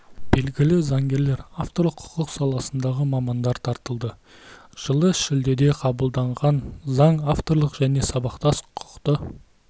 белгілі заңгерлер авторлық құқық саласындағы мамандар тартылды жылы шілдеде қабылданған заң авторлық және сабақтас құқықты